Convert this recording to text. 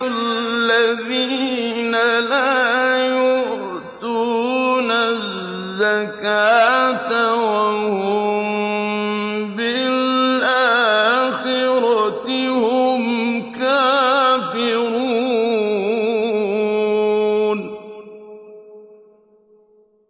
الَّذِينَ لَا يُؤْتُونَ الزَّكَاةَ وَهُم بِالْآخِرَةِ هُمْ كَافِرُونَ